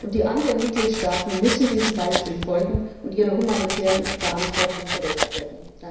Die anderen Mitgliedstaaten müssen diesem Beispiel folgen und ihrer humanitären Verantwortung gerecht werden.